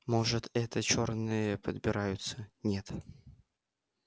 может это чёрные подбираются нет